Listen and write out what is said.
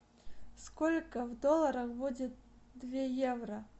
сколько в долларах будет две евро